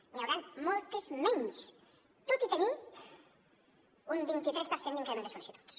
n’hi hauran moltes menys tot i tenir un vint tres per cent d’increment de sol·licituds